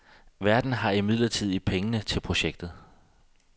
Verden har imidlertid pengene til projektet.